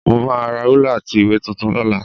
Mo máa ra rúlà àti ìwé tuntun lọ́la